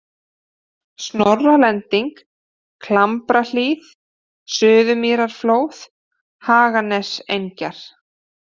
Snorralending, Klambrahlíð, Suðurmýrarflóð, Haganesengjar